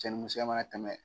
Cɛ ni musoya mana tɛmɛ